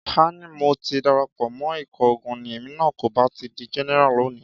Ká ní mo ti darapọ̀ mọ́ ikọ̀ ogun ni, èmi náà kò bá ti di Jẹ́nẹ́rà lónìí.